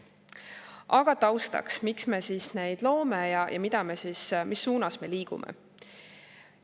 Aga taustaks, miks me siis neid loome ja mis suunas me liigume.